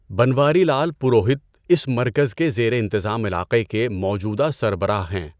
بنواری لال پروہت اس مرکز کے زیر انتظام علاقہ کے موجودہ سَربَراہ ہیں۔